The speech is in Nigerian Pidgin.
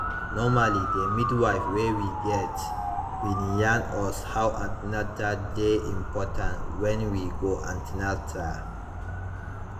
normally de midwife wey we get bin yarn us how an ten al dey important when we go an ten atal